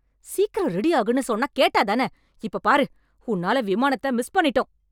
சீக்கிரம் ரெடி ஆகுன்னு சொன்னா கேட்டா தான! இப்போ பாரு, உன்னால விமானத்த மிஸ் பண்ணிட்டோம்!